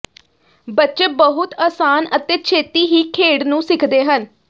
ਬੱਚੇ ਬਹੁਤ ਅਸਾਨ ਅਤੇ ਛੇਤੀ ਹੀ ਖੇਡ ਨੂੰ ਸਿੱਖਦੇ ਹਨ